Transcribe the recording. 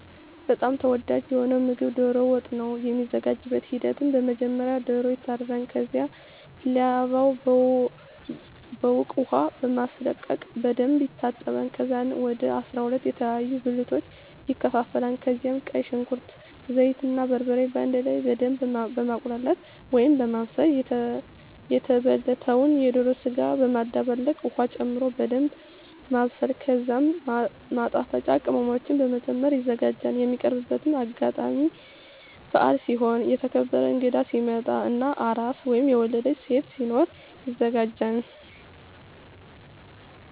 በጣም ተወዳጂ የሆነዉ ምግብ ዶሮ ወጥ ነዉ። የሚዘጋጅበትም ሂደት በመጀመሪያ ዶሮዉ ይታረዳል ከዛም ላባዉን በዉቅ ዉሃ በማስለቀቅ በደንብ ይታጠባል ከዛም ወደ 12 የተለያዩ ብልቶች ይከፋፈላል ከዛም ቀይ ሽንኩርት፣ ዘይት እና በርበሬ በአንድ ላይ በደምብ በማቁላላት(በማብሰል) የተበለተዉን የዶሮ ስጋ በመደባለቅ ዉሀ ጨምሮ በደንምብ ማብሰል ከዛም ማጣፈጫ ቅመሞችን በመጨመር ይዘጋጃል። የሚቀርብበትም አጋጣሚ በአል ሲሆን፣ የተከበረ እንግዳ ሲመጣ እና አራስ (የወለደች ሴት) ሲኖር ይዘጋጃል።